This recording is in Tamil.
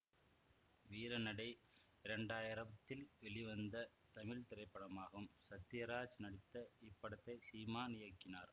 வீரநடை இரண்டாயிரத்தில் வெளிவந்த தமிழ் திரைப்படமாகும் சத்யராஜ் நடித்த இப்படத்தை சீமான் இயக்கினார்